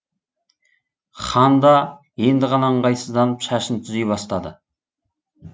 ханда енді ғана ыңғайсызданып шашын түзей бастады